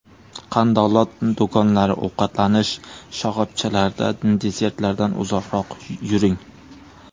Qandolat do‘konlari, ovqatlanish shoxobchalarida desertlardan uzoqroq yuring.